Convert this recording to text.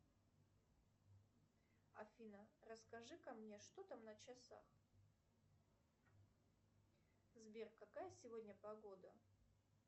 афина расскажи ка мне что там на часах сбер какая сегодня погода